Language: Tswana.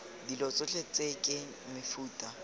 dilo tsotlhe tse ke mefuta